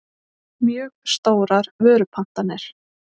mjög stórar vörupantanir.